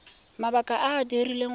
mabaka a a dirileng gore